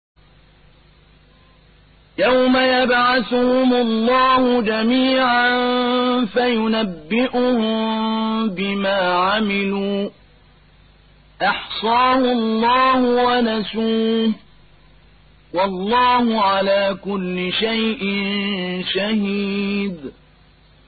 يَوْمَ يَبْعَثُهُمُ اللَّهُ جَمِيعًا فَيُنَبِّئُهُم بِمَا عَمِلُوا ۚ أَحْصَاهُ اللَّهُ وَنَسُوهُ ۚ وَاللَّهُ عَلَىٰ كُلِّ شَيْءٍ شَهِيدٌ